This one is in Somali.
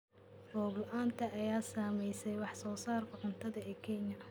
Roob la�aanta ayaa saameysay wax soo saarka cuntada ee Kenya.